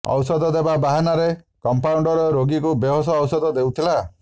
ଔଷଧ ଦେବା ବାହାନାରେ କମ୍ପାଉଣ୍ଡର ରୋଗୀଙ୍କୁ ବେହୋସ ଔଷଧ ଦେଉଥିଲା